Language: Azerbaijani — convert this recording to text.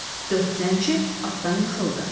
Dörd zənci atdan yıxıldı.